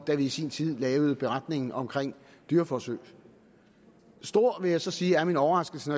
da vi i sin tid lavede beretningen om dyreforsøg stor vil jeg så sige er min overraskelse